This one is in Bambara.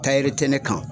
Taayiri tɛ ne kan